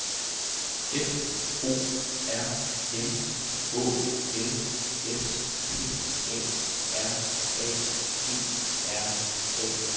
F O R M Å L S P A R A G R A F